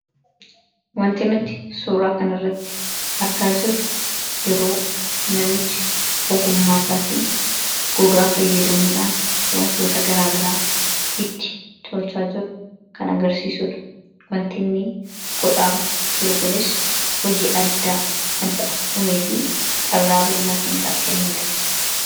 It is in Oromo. Waanti nuti suuraa kana irratti argaa jiru yeroo namichi ogummaa isaatiin gogaa fayyadamuudhaan wantoota garaa garaa itti tolchaa jiru kan agarsiisudha. Waanti inni godhaa jiru kunis hojii addaa kan isaaf uumee fi carraa bal'aa kan isaaf kennedha.